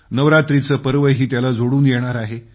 नवरात्रीचे पर्वही त्याला जोडून येणार आहे